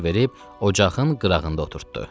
verib ocağın qırağında oturtdu.